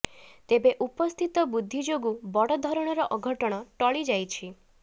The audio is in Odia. ତେବେ ଉପସ୍ଥିତ ବୁଦ୍ଧି ଯୋଗୁଁ ବଡ଼ଧରଣର ଅଘଟଣ ଟଳି ଯାଇଛି